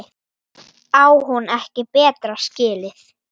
Á hún ekki betra skilið?